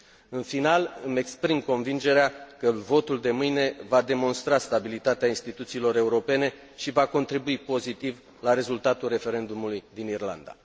În final, îmi exprim convingerea că votul de mâine va demonstra stabilitatea instituțiilor europene și va contribui pozitiv la rezultatul referendumului din Irlanda.